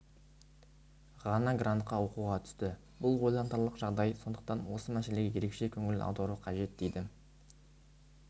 ғана грантқа оқуға түсті бұл ойлантарлық жағдай сондықтан осы мәселеге ерекше көңіл аудару қажет дейді